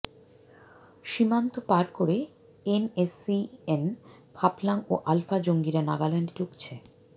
সীমান্ত পার করে এনএসসিএন খাপলাঙ ও আলফা জঙ্গিরা নাগাল্যান্ডে ঢুকেছে